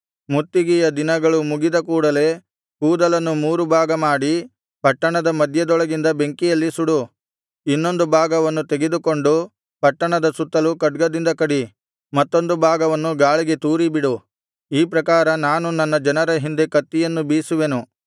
ಮುತ್ತಿಗೆಯ ದಿನಗಳು ಮುಗಿದ ಕೂಡಲೆ ಕೂದಲನ್ನು ಮೂರು ಭಾಗ ಮಾಡಿ ಪಟ್ಟಣದ ಮಧ್ಯದೊಳಗೆ ಬೆಂಕಿಯಲ್ಲಿ ಸುಡು ಇನ್ನೊಂದು ಭಾಗವನ್ನು ತೆಗೆದುಕೊಂಡು ಪಟ್ಟಣದ ಸುತ್ತಲು ಖಡ್ಗದಿಂದ ಕಡಿ ಮತ್ತೊಂದು ಭಾಗವನ್ನು ಗಾಳಿಗೆ ತೂರಿಬಿಡು ಈ ಪ್ರಕಾರ ನಾನು ನನ್ನ ಜನರ ಹಿಂದೆ ಕತ್ತಿಯನ್ನು ಬೀಸುವೆನು